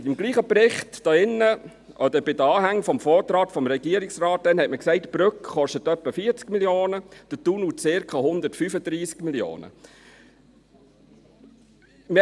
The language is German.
Im gleichen Bericht sagte man damals in den Anhängen des Vortrags des Regierungsrates, die Brücke koste etwa 40 Mio. Franken, der Tunnel circa 135 Mio. Franken.